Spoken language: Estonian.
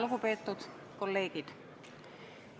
Lugupeetud kolleegid!